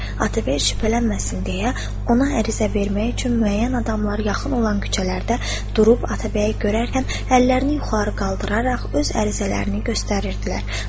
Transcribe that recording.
Atabəy şübhələnməsin deyə ona ərizə vermək üçün müəyyən adamlar yaxın olan küçələrdə durub Atabəyi görərkən əllərini yuxarı qaldıraraq öz ərizələrini göstərirdilər.